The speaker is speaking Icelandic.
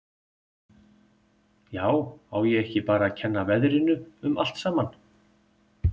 Já, á ég ekki bara að kenna veðrinu um allt saman.